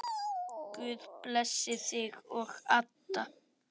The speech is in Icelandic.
Guð blessi þig og Adda.